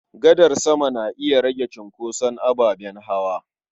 Gadar sama na iya rage cunkoson ababen hawa.